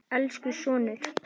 Elsku sonur.